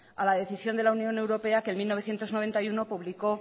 a la decisión de la unión europea que en mil novecientos noventa y uno publicó